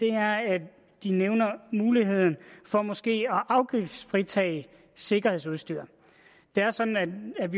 er at de nævner muligheden for måske at afgiftsfritage sikkerhedsudstyr det er sådan at